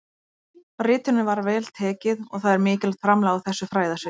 Ritinu var vel tekið og það er mikilvægt framlag á þessu fræðasviði.